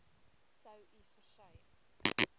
sou u versuim